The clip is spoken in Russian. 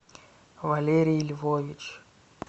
валерий львович